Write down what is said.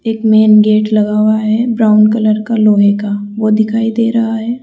एक main gate लगा हुआ है ब्राउन कलर का लोहे का वो दिखाई दे रहा है।